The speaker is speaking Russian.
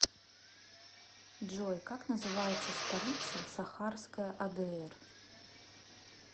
джой как называется столица сахарская адр